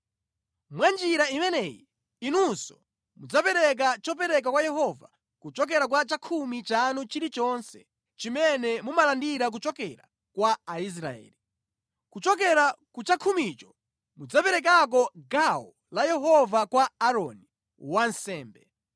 Mwa njira imeneyi inunso muzipereka chopereka kwa Yehova kuchokera ku chakhumi chanu chilichonse chimene mumalandira kuchokera kwa Aisraeli. Kuchokera ku chakhumicho muziperekako gawo la Yehova kwa Aaroni, wansembe.